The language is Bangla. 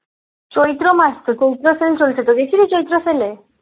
চৈত্র মাস তো চৈত্র sell চলছে গেছিলিস চৈত্র sell এ?